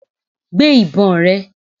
Gbé ìbọn rẹ!